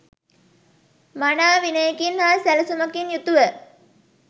මනා විනයකින් හා සැළසුමකින් යුතුව